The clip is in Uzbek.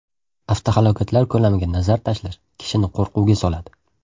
Avtohalokatlar ko‘lamiga nazar tashlash kishini qo‘rquvga soladi.